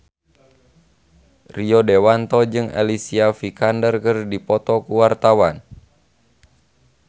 Rio Dewanto jeung Alicia Vikander keur dipoto ku wartawan